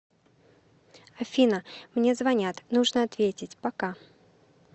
афина мне звонят нужно ответить пока